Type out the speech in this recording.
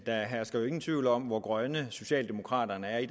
der hersker jo ingen tvivl om hvor grønne socialdemokraterne er i